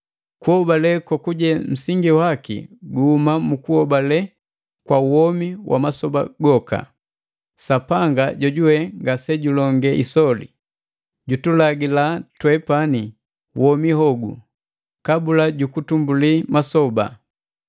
Kuhobale kokuje nsingi waki guhuma mu kuhobale kwa womi wa masoba goka. Sapanga jojuwe ngasejulonge isoli, jutulagila twepani womi hogu kabula jukutumbuli masoba,